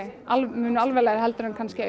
mun alvarlegar heldur en kannski